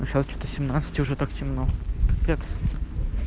ну сейчас что-то семнадцать и уже так темно капец